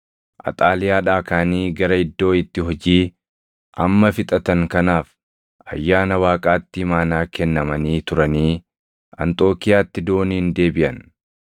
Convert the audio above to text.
Axaaliyaadhaa kaʼanii gara iddoo itti hojii amma fixatan kanaaf ayyaana Waaqaatti imaanaa kennamanii turanii Anxookiiyaatti dooniin deebiʼan.